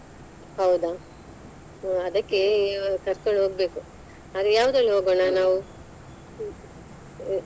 ಹೌದಾ ಹ್ಮ್‌ ಅದಕ್ಕೆ ಕರ್ಕೊಂಡು ಹೋಗ್ಬೇಕು. ಅದೇ ಯಾವ್ದ್ರಲ್ಲಿ ಹೋಗೋಣ ನಾವು? ಹ್ಮ್‌.